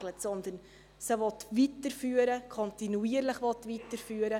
Er will sie weiterführen, sie kontinuierlich weiterführen.